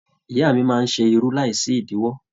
Ìyá máa n ṣe irú láì sí idiwọ.